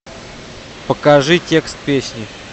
покажи текст песни